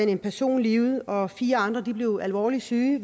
en person livet og fire andre blev alvorligt syge